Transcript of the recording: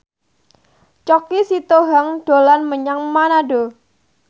Choky Sitohang dolan menyang Manado